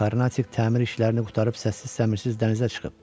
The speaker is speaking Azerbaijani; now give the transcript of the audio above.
Karnatik təmir işlərini qurtarıb səssiz-səmirsiz dənizə çıxıb.